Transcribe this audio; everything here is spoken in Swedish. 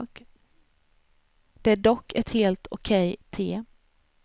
Det är dock ett helt okej te.